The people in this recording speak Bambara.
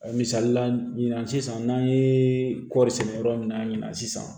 Misalila ɲinan sisan n'an ye kɔɔri sɛnɛ yɔrɔ min na ɲinan sisan